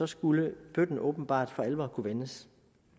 skulle bøtten åbenbart for alvor kunne vendes